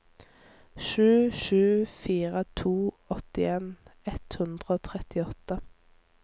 sju sju fire to åttien ett hundre og trettiåtte